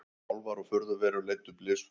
Álfar og furðuverur leiddu blysför